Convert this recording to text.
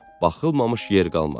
Baxılmamış yer qalmadı.